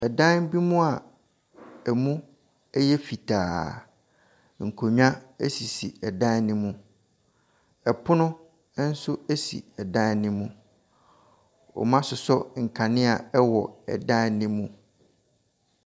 Ɛdan bi mu a ɛmu yɛ fitaa, nkonnwa sisi dan no mu. Pono nso si dan no mu. Wasosɔ nkanea wɔ dan no mu.